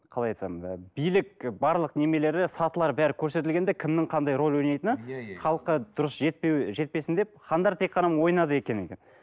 қалай айтсам билік барлық немелері сатылары бәрі көрсетілген де кімнің қандай роль ойнайтыны иә иә халыққа дұрыс жетпесін деп хандар тек қана